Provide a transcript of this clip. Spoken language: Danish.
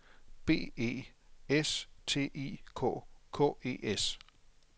B E S T I K K E S